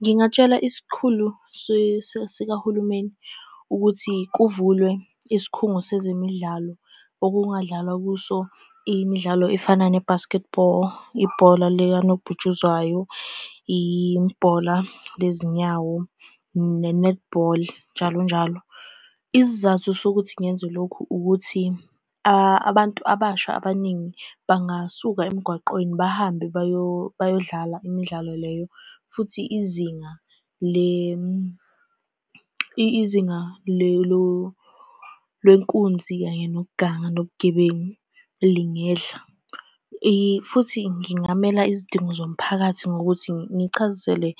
Ngingatshela isikhulu sikahulumeni ukuthi kuvulwe isikhungo sezemidlalo, okungadlalwa kuso imidlalo efana ne-basketball, ibhola likanobhutshuzwayo, ibhola lezinyawo, ne-netball, njalo njalo. Isizathu sokuthi ngenze lokhu, ukuthi abantu abasha abaningi bangasuka emgwaqweni, bahambe bayodlala imidlalo leyo. Futhi izinga lenkunzi kanye nokuganga nobugebengu, lingehla. Futhi ngingamela izidingo zomphakathi ngokuthi ngichazisele